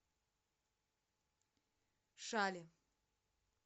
шали